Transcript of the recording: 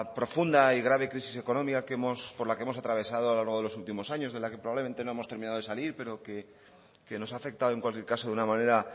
profunda y grave crisis económica por la que hemos atravesado a lo largo de los últimos años de la que probablemente no hemos terminado de salir pero que nos ha afectado en cualquier caso de una manera